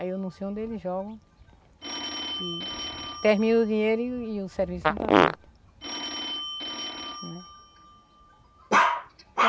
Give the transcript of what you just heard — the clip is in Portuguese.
Aí eu não sei onde eles jogam e termina o dinheiro e e o serviço não está feito, né.